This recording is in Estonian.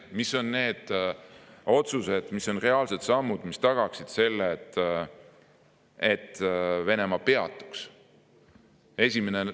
Mis on need otsused, reaalsed sammud, mis tagaksid selle, et Venemaa peatuks?